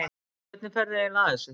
Hvernig ferðu eiginlega að þessu?